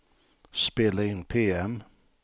spela in PM